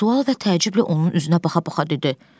Sual və təəccüblə onun üzünə baxa-baxa dedi: